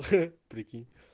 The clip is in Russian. хе прикинь